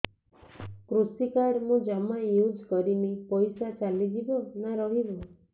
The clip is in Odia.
କୃଷି କାର୍ଡ ମୁଁ ଜମା ୟୁଜ଼ କରିନି ପଇସା ଚାଲିଯିବ ନା ରହିବ